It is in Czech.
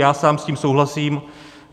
Já sám s tím souhlasím.